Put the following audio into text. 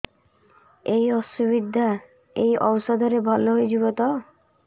ଏଇ ଅସୁବିଧା ଏଇ ଔଷଧ ରେ ଭଲ ହେଇଯିବ ତ